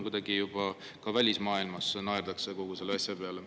Muidu juba ka välismaailmas naerdakse kogu selle asja peale.